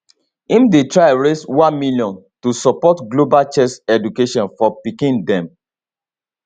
im dey try raise one million to support global chess education for pikin dem